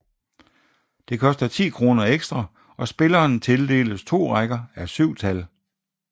Det koster 10 kroner ekstra og spilleren tildeles to rækker à syv tal